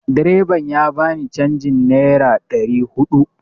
Direban ya ba ni canjin nera ɗari huɗu